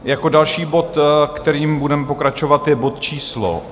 Jako další bod, kterým budeme pokračovat, je bod číslo